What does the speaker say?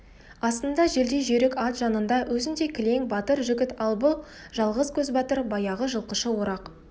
астында желдей жүйрік ат жанында өзіндей кілең батыр жігіт ал бұл жалғыз көзбатыр баяғы жылқышы орақ